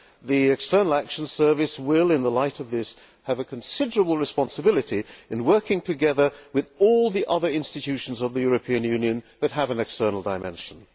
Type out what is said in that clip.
The External Action Service will, in the light of this, have a considerable responsibility in working together with all the other institutions of the European Union that have an external dimension.